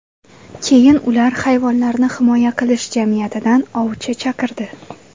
Keyin ular Hayvonlarni himoya qilish jamiyatidan ovchi chaqirdi.